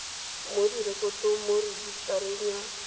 mo direkotong mo rejisetareng ya